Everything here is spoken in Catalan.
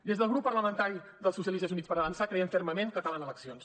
des del grup parlamentari dels socialistes i units per avançar creiem fermament que calen eleccions